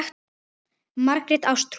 Margrét Ástrún.